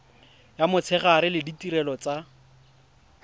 ya motshegare le ditirelo tsa